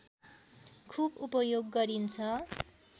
खूब उपयोग गरिन्छ